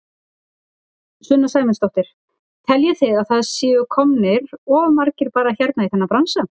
Sunna Sæmundsdóttir: Teljið þið að það séu komnir of margir bara hérna í þennan bransa?